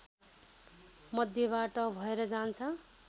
मध्यबाट भएर जान्छ